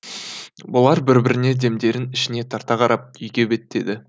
бұлар бір біріне демдерін ішіне тарта қарап үйге беттеді